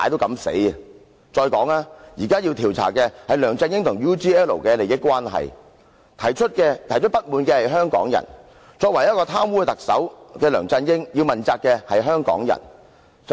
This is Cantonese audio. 現時要調查的是梁振英與 UGL 的利益關係，提出不滿的是香港人，貪污的特首梁振英也要向香港人問責。